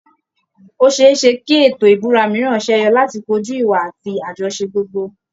Ó ṣe é ṣe kí ètò ìbúra mìíràn ṣẹ́yọ láti kojú ìwà àti àjọṣe gbogbo